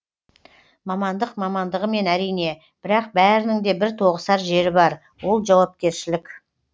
мамандық мамандығымен әрине бірақ бәрінің де бір тоғысар жері бар ол жауапкершілік